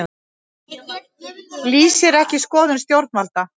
Lýsir ekki skoðun stjórnvalda